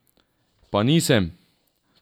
Pa nisem!